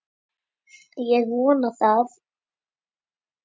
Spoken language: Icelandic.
Ég vona það!